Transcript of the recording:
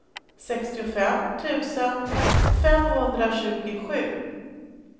sextiofem tusen femhundratjugosju